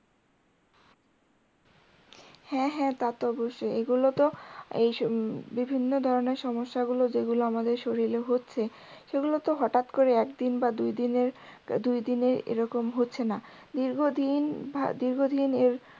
হ্যা হ্যা তা তো অবশ্যই এগুলোতো উম বিভিন্ন ধরনের সমস্যাগুলো যেগুলো আমাদের শরীরে হচ্ছে সেগুলোতে হঠাৎ করে একদিন বা দুইদিনের দুইদিনে এরকম হচ্ছে না দীর্ঘ দিন দীর্ঘদিনের